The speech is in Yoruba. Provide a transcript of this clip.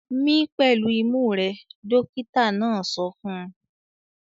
"Mí pẹ̀lú imú rẹ!" Dọ́kítá náà sọ fún un.